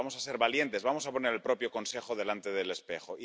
vamos a ser valientes, vamos a poner al propio Consejo delante del espejo.